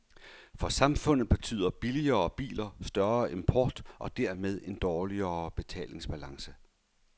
For samfundet betyder billigere biler større import og dermed en dårligere betalingsbalance.